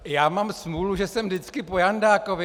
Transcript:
Já mám smůlu, že jsem vždycky po Jandákovi.